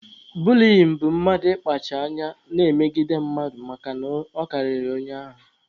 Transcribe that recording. Buliyin bụ mmadụ ịkpacha anya na-emegide mmadụ makana ọ karịrị onye ahụ.